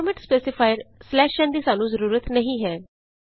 format specifier ਨ ਦੀ ਸਾਨੂੰ ਜ਼ਰੂਰਤ ਨਹੀਂ ਹੈ